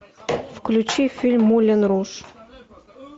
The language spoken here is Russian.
включи фильм мулен руж